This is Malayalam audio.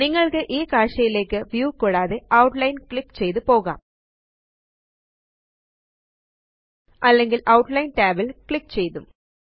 നിങ്ങള്ക്ക് ഈ കാഴ്ചയിലേയ്ക്ക് വ്യൂ കൂടാതെ ഔട്ട്ലൈൻ ല് ക്ലിക്ക് ചെയ്തു പോകാം അല്ലെങ്കില് ഔട്ട്ലൈൻ tab ല് ക്ലിക്ക് ചെയ്തും